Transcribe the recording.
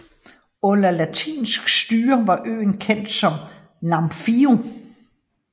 Under latinsk styre var øen kendt som Namfio